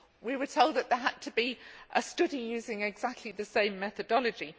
We were told that there had to be a study using exactly the same methodology.